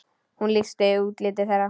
Hún lýsti útliti þeirra.